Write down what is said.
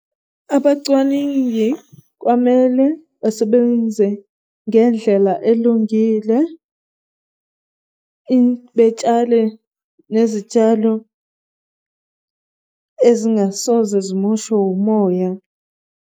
Abacwaningi kwamele basebenze ngendlela elungile, betshale nezitshalo ezingasoze zimoshwe umoya.